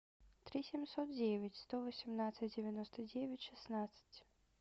три семьсот девять сто восемнадцать девяносто девять шестнадцать